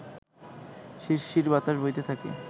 শিরশির বাতাস বইতে থাকে